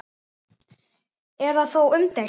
Er það þó umdeilt